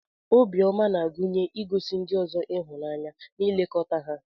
Obiọma na-agụnye igosi ndị ọzọ ịhụnanya na ilekọta ha.